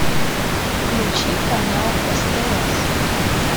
включи канал стс